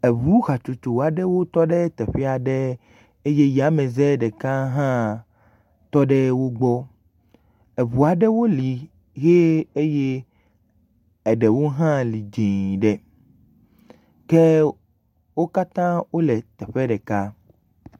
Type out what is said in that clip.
Eŋu hatsotso aɖewo tɔ ɖe teƒe aɖe eye yameze ɖeka hã tɔ ɖe wo gbɔ. Ŋu aɖewo li ye eye eɖewo hã li dzɛ̃ ɖe ke wo katã wole teƒe ɖeka.